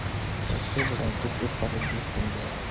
सबसे बड़ा दुग्ध उत्पादक देश बन गया